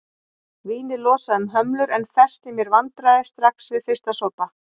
Vínið losaði um hömlur en festi mér vandræði strax við fyrsta sopa.